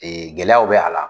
Gɛlɛyaw be a la